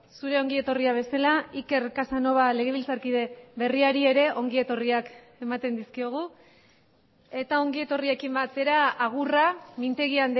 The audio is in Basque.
zure ongi etorria bezala iker casanova legebiltzarkide berriari ere ongi etorriak ematen dizkiogu eta ongi etorriekin batera agurra mintegi